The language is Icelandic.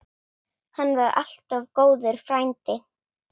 Hann var alltaf góður frændi.